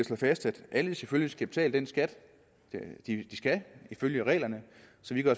slå fast at alle selvfølgelig skal betale den skat de ifølge reglerne